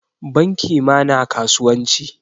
Banki ma na kasuwanci.